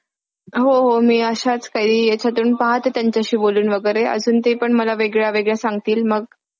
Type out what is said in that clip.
व शेतीक्षेत्र व जगलक्षेत्र घडले आहे त्यामुळे पावसाचे पाणी जमिनीत मुरु शकत नाही जमले घटल्याने भू पुष्टावरील हवामानात बद्दल होतो व तापमानात वाढ होते